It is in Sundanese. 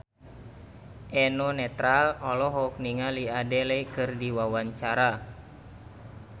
Eno Netral olohok ningali Adele keur diwawancara